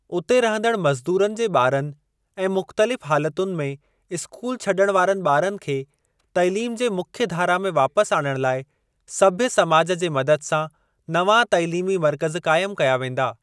उते रहंदड़ मज़दूरनि जे ॿारनि ऐं मुख़्तलिफ़ हालतुनि में स्कूल छड॒ण वारनि ॿारनि खे तइलीम जे मुख्य धारा में वापस आणण लाइ सभ्य समाज जे मदद सां नवां तइलीमी मर्कज़ क़ाइमु कया वेंदा।